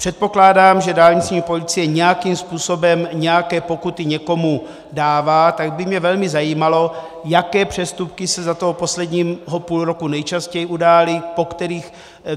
Předpokládám, že dálniční policie nějakým způsobem nějaké pokuty někomu dává, tak by mě velmi zajímalo, jaké přestupky se za toho posledního půl roku nejčastěji udály.